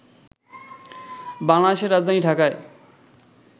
বাংলাদেশে রাজধানী ঢাকায়